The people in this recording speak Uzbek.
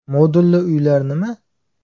Modulli uylar nima?